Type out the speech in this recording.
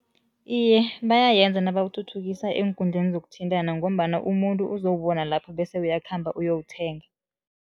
Iye, bayayenza nabawuthuthukisa eenkundleni zokuthintana ngombana umuntu uzowubona lapho bese uyakhamba uyowuthenga.